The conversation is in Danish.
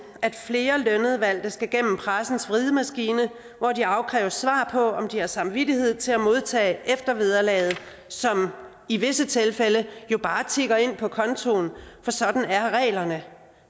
at flere skal gennem pressens vridemaskine hvor de afkræves svar på om de har samvittighed til at modtage eftervederlaget som i visse tilfælde jo bare tikker ind på kontoen for sådan er reglerne